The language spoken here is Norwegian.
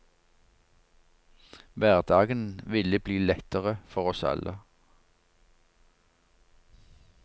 Hverdagen ville blitt lettere for oss alle.